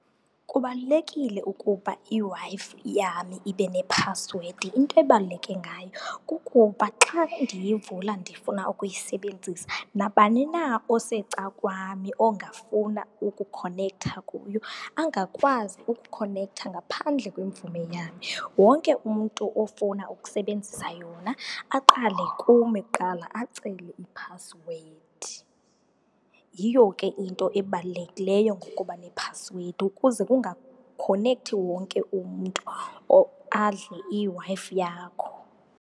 Kubalulekile ukuba iWi-Fi yam ibe nephasiwedi. Into ebaluleke ngayo kukuba xa ndiyivula ndifuna ukuyisebenzisa nabani na osecakwami ongafuna ukukhonektha kuyo angakwazi ukukhonektha ngaphandle kwemvume yam, wonke umntu ofuna ukusebenzisa yona aqale kum kuqala acele iphasiwedi. Yiyo ke into ebalulekileyo ngokuba nephasiwedi ukuze kungakhonekthi wonke umntu adle iWi-Fi yakho.